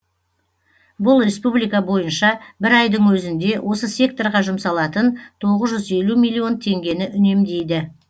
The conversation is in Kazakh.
бұл республика бойынша бір айдың өзінде осы секторға жұмсалатын тоғыз жүз елу миллион теңгені үнемдейді